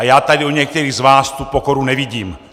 A já tady u některých z vás tu pokoru nevidím.